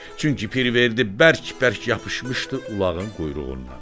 Çünki Pirverdi bərk-bərk yapışmışdı ulağın quyruğundan.